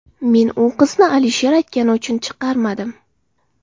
Men u qizni Alisher aytgani uchun chiqarmadim.